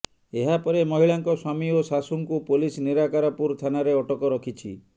ଏହାପରେ ମହିଳାଙ୍କ ସ୍ୱାମୀ ଓ ଶାଶୁଙ୍କୁ ପୋଲିସ ନିରାକାରପୁର ଥାନାରେ ଅଟକ ରଖିଛି